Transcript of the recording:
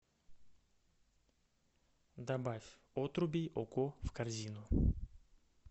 добавь отруби ого в корзину